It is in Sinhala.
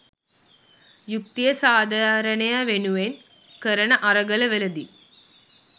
යුක්‌තිය සාධාරණය වෙනුවෙන් කරන අරගල වලදී